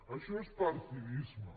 això és partidisme